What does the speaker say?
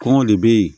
Kɔngɔ de be yen